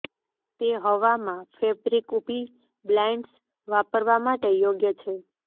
તે હવા માં ફેબ્રિક ઊભી બ્લાઇંડ્સ વાપરવા માટે યોગ્ય છે